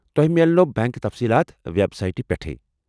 تۄہہ میلنو بینٛک تٚصیٖلات وٮ۪بسایٹہِ پٮ۪ٹٕے۔